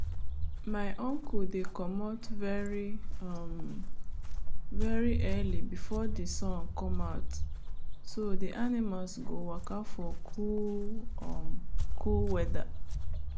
my uncle dey comot very um early before the sun come out so the animals go waka for cool um weather